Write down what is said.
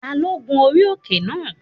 Ta ló gun orí òkè náà?